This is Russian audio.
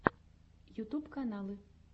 ютюб каналы